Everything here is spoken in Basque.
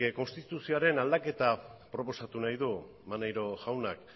konstituzioaren aldaketa proposatu nahi digu maneiro jaunak